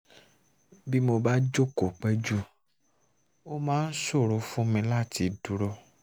bí mo bá jókòó pẹ́ jù ó máa ń ṣòro fún mi láti dúró